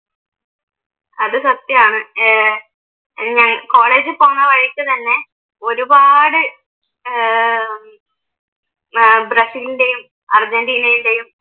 അത് സത്യാണ് ഏർ കോളേജിൽ പോന്ന വഴിക്ക് തന്നെ ഒരുപാട് ഏർ ഏർ ബ്രസീലിൻറെയും അർജന്റീനയുടേയും